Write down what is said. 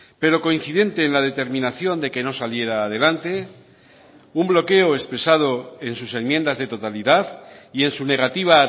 pero coincidente en la determinación de que no saliera adelante un bloqueo expresado en sus enmiendas de totalidad y en su negativa a